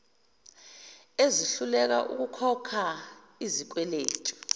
esihluleka ukukhokha izikweletu